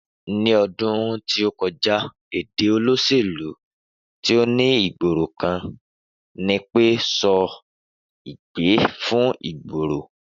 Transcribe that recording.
Ni ọdún tí o kọjá èdè olóṣèlú ti ọ li ìgboro kan nipé sọ ìgbé fí ìgboro